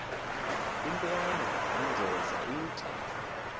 intwana unjeza ithi